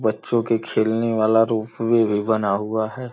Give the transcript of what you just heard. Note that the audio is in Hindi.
बच्चों के खेलने वाला रूफ वे भी बना हुआ है।